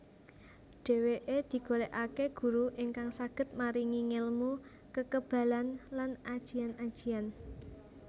Dheweke digolekake guru ingkang saged maringi ngelmu kekebalan lan ajian ajian